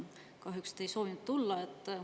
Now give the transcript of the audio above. Kahjuks te ei soovinud tulla.